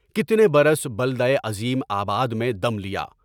کتنے برس بلدۂ عظیم آباد میں دم لیا۔